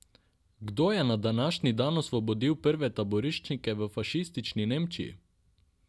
Kdo je na današnji dan osvobodil prve taboriščnike v fašistični Nemčiji?